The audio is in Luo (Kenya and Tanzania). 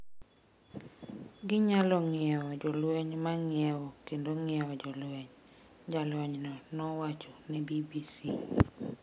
“Ginyalo ng’iewo jolweny ma ng’iewo kendo ng’iewo jolweny,” jalonyno nowacho ne BBC.